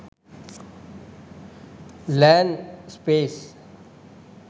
land scape